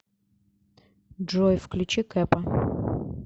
джой включи кэпа